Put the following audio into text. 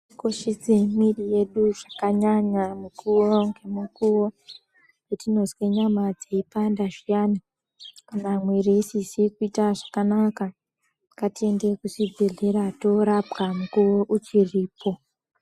Tikoshese mwiri yedu zvakanyanya mukuwo nemukuwo. Patinozwe nyama dzeipanda kana mwiri isizi kuite zvakanaka ngatiende kuzvibhehleya torapa mukuwo uchiripo